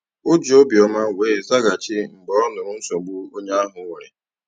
O ji obi ọma wee zaghachi mgbe ọ nụrụ nsogbu onye ahụ nwere.